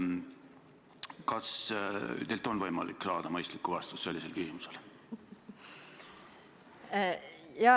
Kas teilt on võimalik saada mõistlikku vastust sellisele küsimusele?